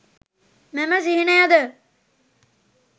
මෙම සිහිනයද